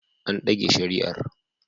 An dage shari'ar